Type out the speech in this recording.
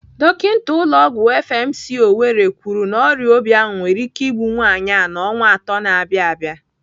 Dọkinta ụlọ ọgwụ FMC, Owerri kwuru na ọrịa obi ahụ nwere ike igbu nwaanyị a n'ọnwa atọ na-abịa abịa.